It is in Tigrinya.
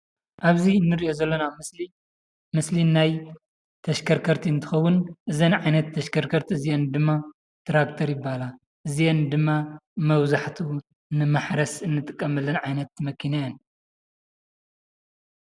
አብዚ ንሪኦ ዘለና ምስሊ ምስሊ ናይ ተሽከርከቲ እንትኸውን እዘን ዓይነት ተሽከርከርቲ እዚአን ድማ ትራክተር ይበሃላ። እዚአን ድማ መብዛሕትኡ ንማሕረስ እንጥቀመለን ዓይነት መኪና እየን።